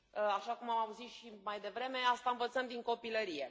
Așa cum am auzit și mai devreme, asta învățăm din copilărie.